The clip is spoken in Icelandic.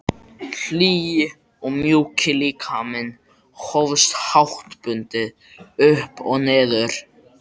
Hlýi og mjúki líkaminn hófst háttbundið upp og niður.